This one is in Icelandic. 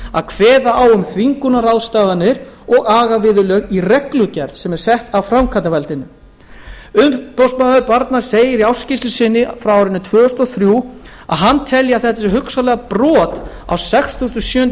að kveða á um þvingunarráðstafanir og agaviðurlög í reglugerð sem sett sé af framkvæmdarvaldinu umboðsmaður barna segir í ársskýrslu sinni frá árinu tvö þúsund og þrjú að hann telji að þetta sé hugsanlega brot á sextugasta og sjöundu